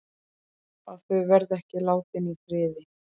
Að þau verði ekki látin í friði.